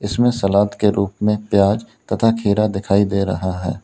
इसमें सलाद के रूप में प्याज तथा खीरा दिखाई दे रहा है।